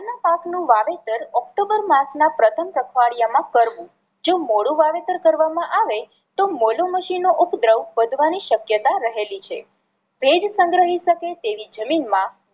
રાઈ ના પાક નું વાવેતર ઓક્ટોમ્બર માસ ના પ્રથમ પખવાડિયા માં કરવું જો મોડું વાવેતર કરવામાં આવે તો મોલોમછી નો ઉપદ્રવ વધવાની શક્યતા રહેલી છે. ભેજ સંગ્રહી શકે તેવી જમીન માં